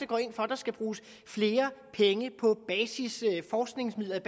går ind for at der skal bruges flere penge på basisforskningsmidler jeg